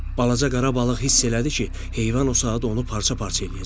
Balaca qara balıq hiss elədi ki, heyvan o saat onu parça-parça eləyəcək.